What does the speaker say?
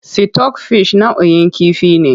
Sitok fish nau'in kifi ne.